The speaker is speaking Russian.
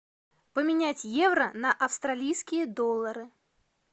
поменять евро на австралийские доллары